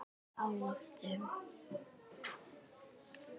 Á lofti